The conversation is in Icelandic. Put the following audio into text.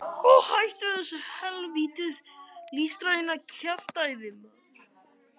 Og hætt þessu hel vítis listræna kjaftæði.